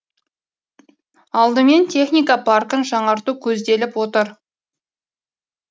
алдымен техника паркін жаңарту көзделіп отыр